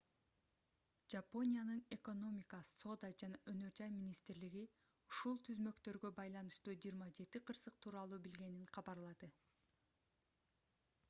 жапониянын экономика соода жана өнөр жай министрлиги meti ушул түзмөктөргө байланыштуу 27 кырсык тууралуу билгенин кабарлады